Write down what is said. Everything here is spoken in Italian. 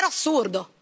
È davvero assurdo!